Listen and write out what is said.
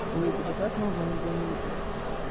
охуеть это как нужно не заметить